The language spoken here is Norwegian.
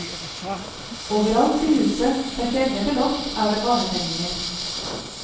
Overalt i huset, fra kjeller til loft, er det barnetegninger.